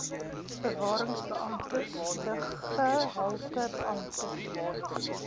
bewarings beamptes luggehaltebeamptes